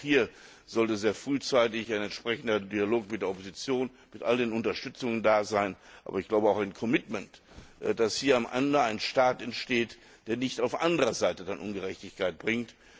Auch hier sollte sehr frühzeitig ein entsprechender Dialog mit der Opposition mit all den Unterstützungen da sein, aber auch ein committment dass hier am Ende ein Staat entsteht, der nicht auf anderer Seite dann Ungerechtigkeit bringt.